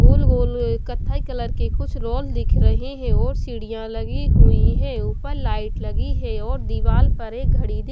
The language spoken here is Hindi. गोल गोल कथाई कलर के कुछ रोल दिख रहे हैं और सीढ़ियां लगी हुई है ऊपर लाइट लगी है और दीवार पर एक घड़ी--